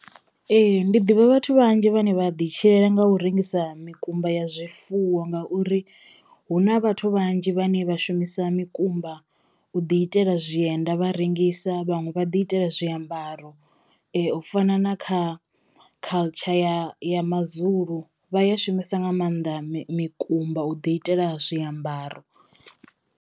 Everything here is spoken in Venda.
Ee ndi ḓivha vhathu vhanzhi vhane vha ḓi tshilela nga u rengisa mikumba ya zwifuwo ngauri hu na vhathu vhanzhi vhane vha shumisa mikumba u ḓi itela zwienda vha rengisa vhaṅwe vha ḓi itela zwiambaro u fana na kha culture ya ya mazulu vha ya shumisa nga mannḓa mi mikumba u ḓi itela zwiambaro.